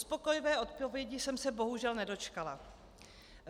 Uspokojivé odpovědi jsem se bohužel nedočkala.